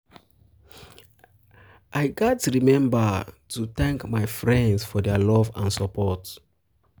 um i gats remember um to thank um my friends for their love and support.